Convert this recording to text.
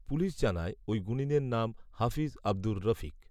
police জানায় ওই গুণিনের নাম হাফিজ আবদুর রফিক